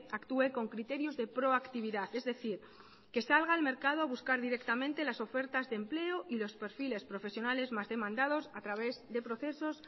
actúe con criterios de pro actividad es decir que salga al mercado a buscar directamente las ofertas de empleo y los perfiles profesionales más demandados a través de procesos